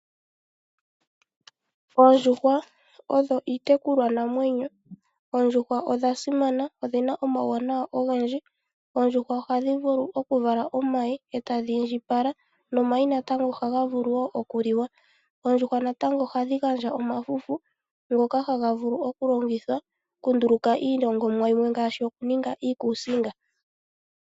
Oondjuhwa odho iitekulwanamwenyo. Oondjuhwa odha simana, odhi na omawuwanawa ogendji. Oondjuhwa ohadhi vulu okuvala omayi e tadhi indjipala. Nomayi natango ohaga vulu wo okuliwa. Oondjuhwa natango ohadhi gandja omafufu ngoka haga vulu okulongithwa kunduluka iilongomwa yimwe ngaashi okuninga iikusinga.